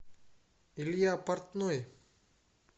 илья портной